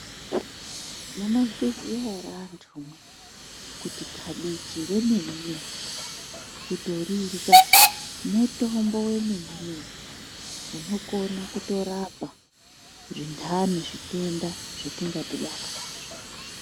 Munozviziyaere anthumwi kuti kabichi remene mene kundorirya mutombo wemene unokona kutorapa zvinthani, zvitenda zvatingadhibana nazvo.